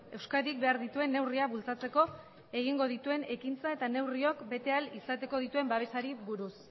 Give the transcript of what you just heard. euskadik behar dituen neurriak bultzatzeko egingo dituen ekintzei eta neurriok bete ahal izateko dituen babesei buruz